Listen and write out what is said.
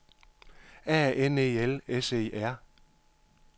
A N E L S E R